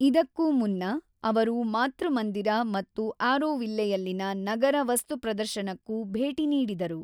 ಇದಕ್ಕೂ ಮುನ್ನ ಅವರು ಮಾತೃಮಂದಿರ ಮತ್ತು ಆರೋವಿಲ್ಲೆಯಲ್ಲಿನ ನಗರ ವಸ್ತುಪ್ರದರ್ಶನಕ್ಕೂ ಭೇಟಿ ನೀಡಿದರು.